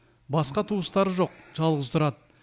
басқа туыстары жоқ жалғыз тұрады